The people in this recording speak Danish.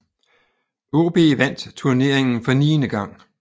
AaB vandt turneringen for niende gang